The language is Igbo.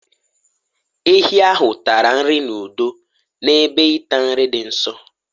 ehi ahụ tara nri n'udo n'ebe ịta nri dị nso